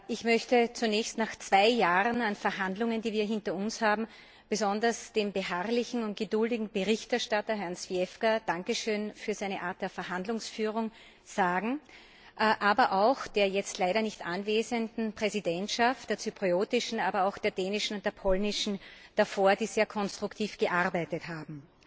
Ich möchte zunächst nach zwei Jahren Verhandlungen, die wir hinter uns haben, besonders dem beharrlichen und geduldigen Berichterstatter, Herrn Zwiefka, Danke schön für seine Art der Verhandlungsführung sagen, aber auch der jetzt leider nicht anwesenden Präsidentschaft, der zyprischen, sowie der dänischen und der polnischen davor, die sehr konstruktiv gearbeitet haben.